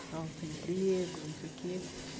Estavam sem emprego, não sei o quê.